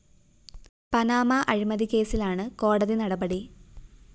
Panama അഴിമതിക്കേസിലാണ് കോടതി നടപടി